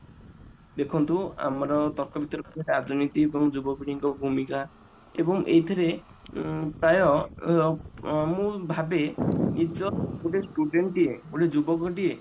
ଦେଖନ୍ତୁ ଆମର ତର୍କ ବିତର୍କ ରାଜନୀତି ଉପରେ ଯୁବପିଢିଙ୍କ ଭୂମିକା ଉଁ ଏବଂ ଏଇଥିରେ ପ୍ରାୟ ଅ ମୁଁ ଭାବେ ନିଜ ଗୋଟେ student ଟିଏ ଗୋଟେ ଯୁବକଟିଏ